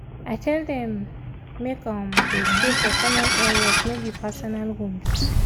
i tell dem make um dey stay for common areas no be for personal rooms.